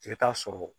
I bɛ taa sɔrɔ